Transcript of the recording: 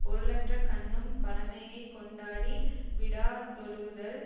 பொருளற்ற கண்ணும் பழைமையைக் கொண்டாடி விடாதொழுகுதல்